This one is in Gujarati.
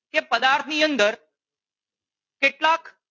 કે પદાર્થની અંદર કેટલાક